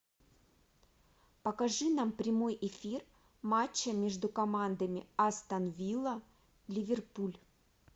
покажи нам прямой эфир матча между командами астон вилла ливерпуль